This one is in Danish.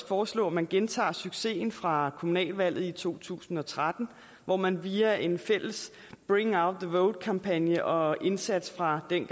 foreslå at man gentager succesen fra kommunalvalget i to tusind og tretten hvor man via en fælles bring out the vote kampagne og indsats fra det